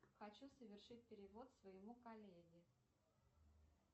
хочу совершить перевод своему коллеге